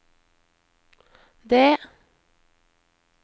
det